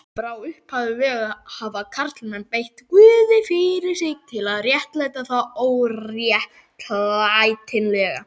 Frá upphafi vega hafa karlmenn beitt guði fyrir sig til að réttlæta það óréttlætanlega.